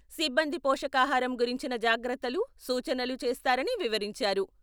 సిబ్బంది పోషకాహారం గురించిన జాగ్రత్తలు, సూచనలు చేస్తారని వివరించారు.